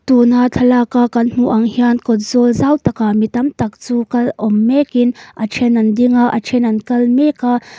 tuna thlalaka kan hmuh ang hian kawtzawl zau takah mitam tak chu kal awm mek in a then an ding a a then an kal mek a.